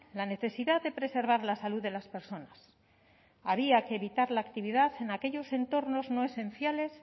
la necesidad de preservar la salud de las personas había que evitar la actividad en aquellos entornos no esenciales